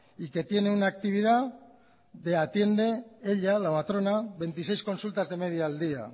y que tiene una actividad que atiende ella la matrona veintiséis consultas de media al día